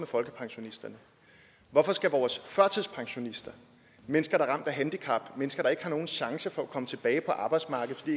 folkepensionisterne hvorfor skal vores førtidspensionister mennesker der er ramt af handicap mennesker der ikke har nogen chance for at komme tilbage på arbejdsmarkedet fordi